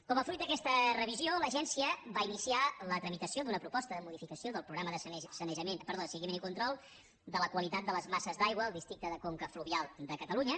com a fruit d’aquesta revisió l’agència va iniciar la tramitació d’una proposta de modificació del programa de seguiment i control de la qualitat de les masses d’aigua al districte de conca fluvial de catalunya